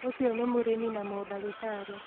Ūcio nĩ mũrĩmi na mũndagĩtarĩ